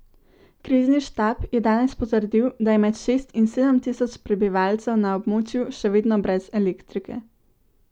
Krizni štab je danes potrdil, da je med šest in sedem tisoč prebivalcev na območju še vedno brez elektrike.